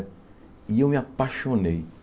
E eu me apaixonei.